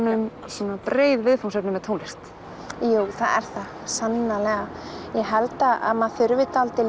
um svona breið viðfangsefni með tónlist jú það er það sannarlega ég held að maður þurfi dálítið